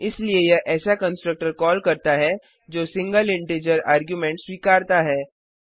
इसलिए यह ऐसा कंस्ट्रक्टर कॉल करता है जो सिंगल इंटीजर आर्गुमेंट स्वीकरता है